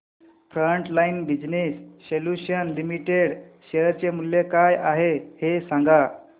frontline business solutions limited share चे मूल्य काय आहे हे सांगा